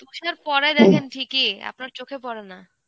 তুষার পরে দেখেন ঠিকই, আপনার চোখে পরে না.